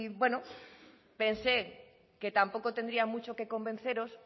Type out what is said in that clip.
bueno pensé que tampoco tendría mucho que convenceros